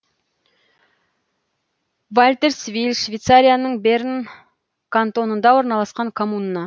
вальтерсвиль швейцарияның берн кантонында орналасқан коммуна